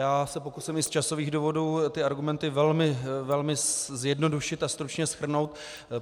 Já se pokusím i z časových důvodů ty argumenty velmi zjednodušit a stručně shrnout.